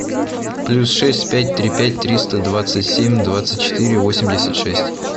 плюс шесть пять три пять триста двадцать семь двадцать четыре восемьдесят шесть